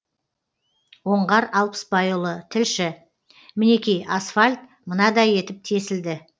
оңғар алпысбайұлы тілші мінекей асфальт мынадай етіп тесілді